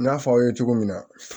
N'a fɔ aw ye cogo min na